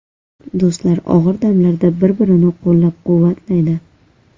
Do‘stlar og‘ir damlarda bir-birini qo‘llab-quvvatlaydi.